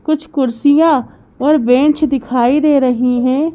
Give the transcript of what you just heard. कुछ कुर्सिया और बेंच दिखाई दे रही हैं।